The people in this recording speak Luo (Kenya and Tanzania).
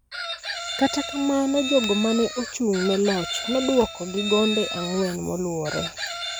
Kata kamano, jogo ma ne ochung� ne loch nodwoko gi gonde ang�wen moluwore